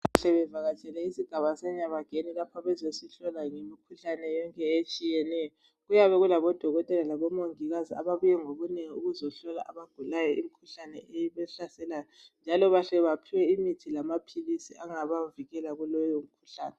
Sebevakatshele esigaba seNyabageni lapho bezesitshela ngemikhuhlane etshiyeneyo. Kuyabe kulabodokotela labomongikazi ababuye ngobunengi ukuzohlola abagulayo imikhuhlane ehlaselayo. Njalo bahle baphiwe imithi lamaphilisi angabavikela kuleyo mikhuhlane.